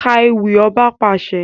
Ká ewì! Ọba pàṣẹ!